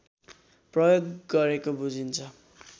प्रयोग गरेको बुझिन्छ